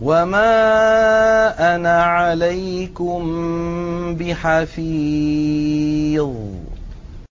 وَمَا أَنَا عَلَيْكُم بِحَفِيظٍ